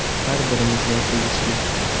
Bu har birimizga tegishli.